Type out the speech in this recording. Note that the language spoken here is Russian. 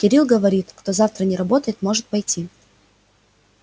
кирилл говорит кто завтра не работает может пойти